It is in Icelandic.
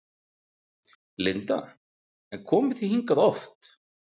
Linda: En komið þið hingað oft?